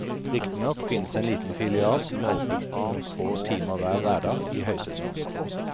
Riktignok finnes en liten filial som har åpent noen få timer hver hverdag i høysesongen.